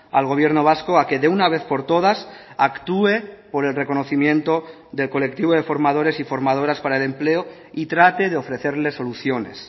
al gobierno vasco a que de una vez por todas actúe por el reconocimiento del colectivo de formadores y formadoras para el empleo y trate de ofrecerles soluciones